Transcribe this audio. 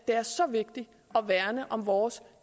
det er så vigtigt at værne om vores